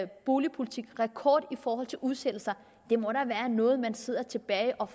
boligpolitik rekord i forhold til udsættelser det må da være noget man sidder tilbage og